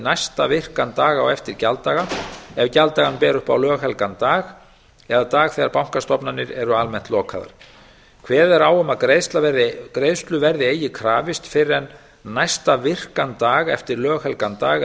næsta virkan dag á eftir gjalddaga ef gjalddaga ber upp á löghelgan dag eða dag þegar bankastofnanir eru almennt lokaðar kveðið er á um að greiðslu verði eigi krafist fyrr en næsta virkan dag eftir löghelgan dag